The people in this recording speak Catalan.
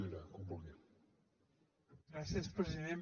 gràcies president